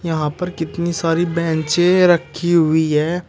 यहां पे कितनी सारी बेन्चे से रखी हुई है।